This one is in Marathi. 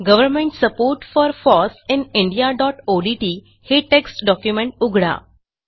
government support for foss in indiaओडीटी हे टेक्स्ट डॉक्युमेंट उघडा